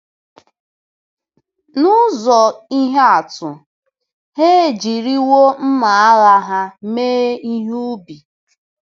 N'ụzọ ihe atụ, ha 'ejiriwo mma agha ha mee ihe ubi.'